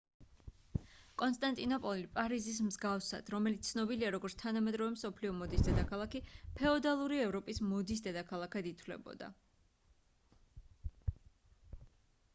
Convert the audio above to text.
კონსტანტინოპოლი პარიზის მსგავსად რომელიც ცნობილია როგორც თანამედროვე მსოფლიო მოდის დედაქალაქი ფეოდალური ევროპის მოდის დედაქალაქად ითვლებოდა